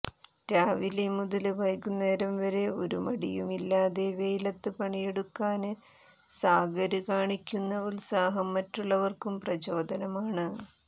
രാവിലെ മുതല് വൈകുന്നേരം വരെ ഒരു മടിയുമില്ലാതെ വെയിലത്ത് പണിയെടുക്കാന് സാഗര് കാണിക്കുന്ന ഉത്സാഹം മറ്റുള്ളവര്ക്കും പ്രചോദനമാണ്